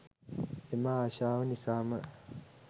එම ආශාව නිසාම